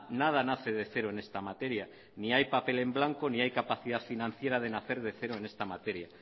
nada nace de cero en esta materia ni hay papel en blanco ni hay capacidad financiera de nacer de cero en esta materia